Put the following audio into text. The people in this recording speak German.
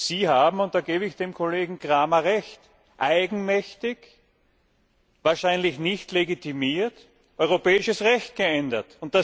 Sie haben, und da gebe ich dem Kollegen Cramer recht, eigenmächtig, wahrscheinlich nicht legitimiert, europäisches Recht geändert!